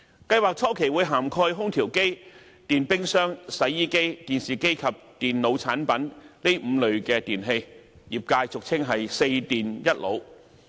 計劃初期會涵蓋空調機、電冰箱、洗衣機、電視機及電腦產品這5類電器，業界俗稱"四電一腦"。